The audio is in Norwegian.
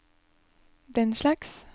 denslags